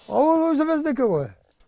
ауыл өзіміздікі ғой